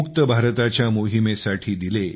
मुक्त भारताच्या मोहिमेसाठी दिले